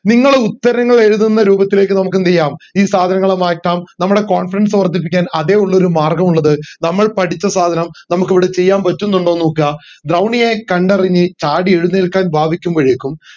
നിങ്ങൾ ഉത്തരങ്ങൾ എഴുതുന്ന രൂപത്തിലേക്ക് നമക്ക് എന്ത് ചെയ്യാം ഈ സാധനങ്ങളെ മാറ്റം നമ്മുടെ confidence വർദ്ധിപ്പിക്കാൻ അതെ ഉള്ളൊരു മാർഗം ഉള്ളത് നമ്മൾ പഠിച്ച സാധനം നമ്മക്ക് ഇവിടെ ചെയ്യാൻ പറ്റുന്നുണ്ടോന്ന് നോക്ക ദ്രൗണിയെ കണ്ടറിഞ്ഞു ചാടി എഴുനേൽക്കാൻ ഭാവിക്കുമ്പോഴേക്കും